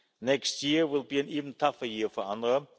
Next year will be an even tougher year for UNRWA.